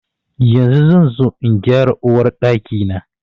Yanzu zan zo in gyara Uwar Ɗaki na.